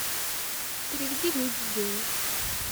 переведи люде денег